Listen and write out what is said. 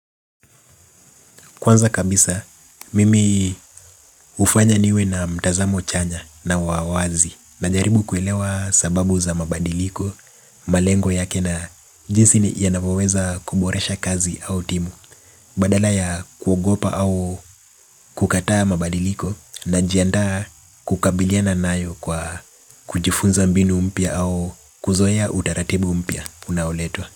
Kwanza kabisa, mimi hufanya niwe na mtazamo chanya na wa wazi. Najaribu kuelewa sababu za mabadiliko, malengo yake na jinsi yanapoweza kuboresha kazi au timu. Badala ya kuogopa au kukataa mabadiliko najiandaa kukabiliana nayo kwa kujifunza mbinu mpya au kuzoea utaratibu mpya unaoletwa.